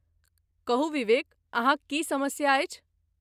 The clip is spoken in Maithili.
कहू विवेक, अहाँक की समस्या अछि?